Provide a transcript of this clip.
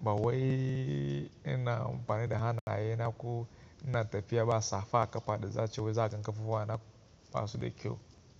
ba wai ina amfani da hannaye na, ko ina tafiya ba safa akafa da zai cewa za ka kashe kowa na basu da kyau.